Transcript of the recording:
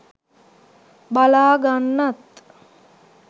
බලා ගන්නත්